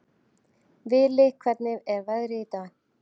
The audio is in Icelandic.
Vili, hvernig er veðrið í dag?